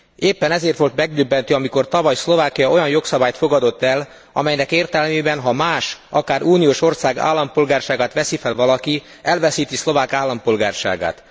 Éppen ezért volt megdöbbentő, amikor tavaly Szlovákia olyan jogszabályt fogadott el, amelynek értelmében, ha más, akár uniós ország állampolgárságát veszi fel valaki, elveszíti szlovák állampolgárságát.